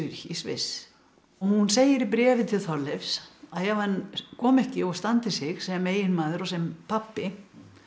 í Sviss og hún segir í bréfi til Þorleifs að ef hann komi ekki og standi sig sem eiginmaður og sem pabbi